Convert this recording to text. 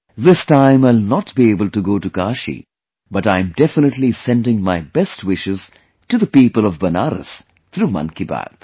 This time I'll not be able to go to Kashi but I am definitely sending my best wishes to the people of Banaras through 'Mann Ki Baat'